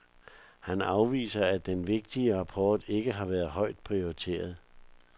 Han afviser, at den vigtige rapport ikke har været højt prioriteret.